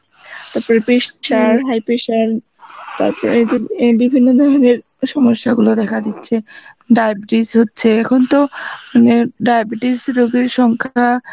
তার পরে pressure high pressure তার পরে যে এন বিভিন্ন ধরনের সমস্যা গুলো দেখা দিচ্ছে, diabetes হচ্ছে এখন তো মানে diabetes রুগীর সংখা